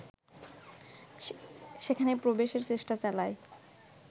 সেখানে প্রবেশের চেষ্টা চালায়